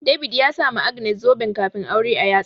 David ya sama Agnes zuben kafin aure a yatsa.